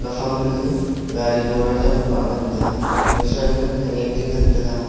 gaphang du gaga garigora jau moh ga ngan taiga gasui ma khanyak je ngan tega.